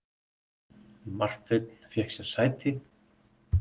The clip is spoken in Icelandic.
Marteinn fékk sér sæti.